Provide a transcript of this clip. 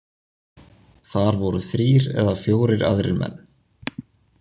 Þar voru þrír eða fjórir aðrir menn.